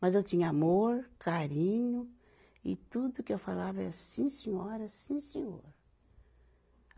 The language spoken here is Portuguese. Mas eu tinha amor, carinho, e tudo que eu falava é, sim, senhora, sim, senhora.